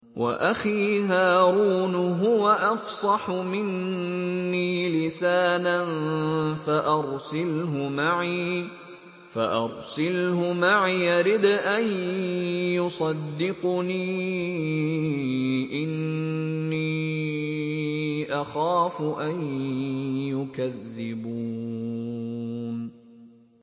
وَأَخِي هَارُونُ هُوَ أَفْصَحُ مِنِّي لِسَانًا فَأَرْسِلْهُ مَعِيَ رِدْءًا يُصَدِّقُنِي ۖ إِنِّي أَخَافُ أَن يُكَذِّبُونِ